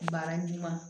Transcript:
Baara ɲuman